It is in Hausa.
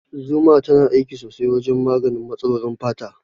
Zuma tana aiki sosai wajen maganin matsalolin fata.